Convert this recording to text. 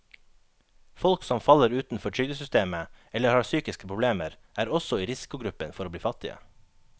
Folk som faller utenfor trygdesystemet eller har psykiske problemer, er også i risikogruppen for å bli fattige.